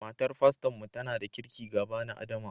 Matar faston mu tana da kirƙi ga bani adama